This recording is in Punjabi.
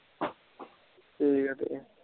ਠੀਕ ਆ ਠੀਕ ਆ